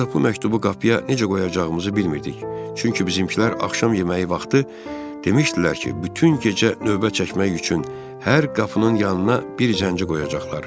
Ancaq bu məktubu qapıya necə qoyacağımızı bilmirdik, çünki bizminkilər axşam yeməyi vaxtı demişdilər ki, bütün gecə növbə çəkmək üçün hər qapının yanına bir zənci qoyacaqlar.